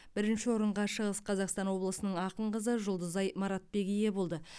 бірінші орынға шығыс қазақстан облысының ақын қызы жұлдызай маратбек ие болды